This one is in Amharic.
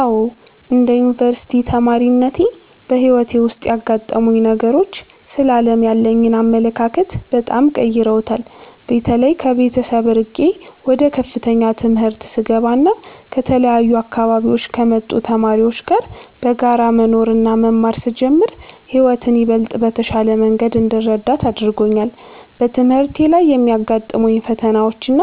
አዎ፣ እንደ አንድ የዩኒቨርሲቲ ተማሪነቴ በሕይወቴ ውስጥ ያጋጠሙኝ ነገሮች ስለ ዓለም ያለኝን አመለካከት በጣም ቀይረውታል። በተለይ ከቤተሰብ ርቄ ወደ ከፍተኛ ትምህርት ስገባና ከተለያዩ አካባቢዎች ከመጡ ተማሪዎች ጋር በጋራ መኖርና መማር ስጀምር ሕይወትን ይበልጥ በተሻለ መንገድ እንድረዳት አድርጎኛል። በትምህርቴ ላይ የሚያጋጥሙኝ ፈተናዎችና